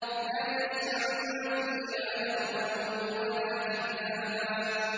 لَّا يَسْمَعُونَ فِيهَا لَغْوًا وَلَا كِذَّابًا